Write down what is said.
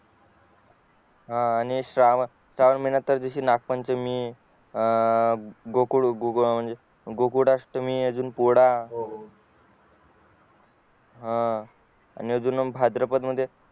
हा आणि श्रावण महिन्यात त्यादिवशी नाग पंचमी अं गोकुळ गोकुळ अष्ट्मी अजून पोवाडा हा अजून भाद्रपदात